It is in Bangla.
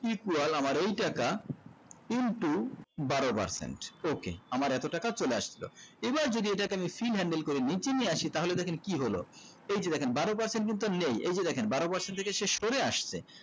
keep wall আমার এই টাকা into বারো percent okay আমার এতো টাকা চলে আসলো এবার যদি এটাকে আমি sim handle করে নিচে নিয়ে আসি তাহলে দেখেন কি হলো তো এই যে দেখেন বারো percent কিন্তু নেই এই যে দেখেন বারো percent শেষ করে আস্তে